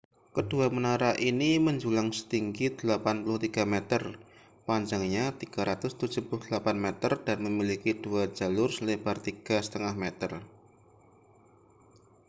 kedua menara ini menjulang setinggi 83 meter panjangnya 378 meter dan memiliki dua jalur selebar 3,50 m